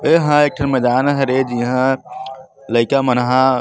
ए ह एक ठन मैदान ह हरे जेहा लइका मन ह --